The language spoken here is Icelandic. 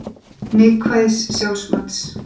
Neikvæðs sjálfsmats.